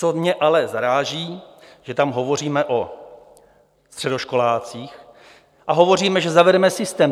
Co mě ale zaráží, že tam hovoříme o středoškolácích a hovoříme, že zavedeme systém.